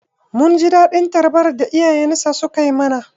Mun ji daɗin tarbar da iyayensa sukai mana.